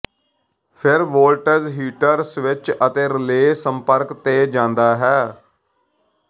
ਫਿਰ voltage heater switch ਅਤੇ relay ਸੰਪਰਕ ਤੇ ਜਾਂਦਾ ਹੈ